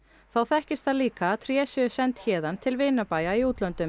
þá þekkist líka að tré séu send héðan til vinabæja í útlöndum